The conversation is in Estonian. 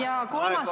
Aitäh!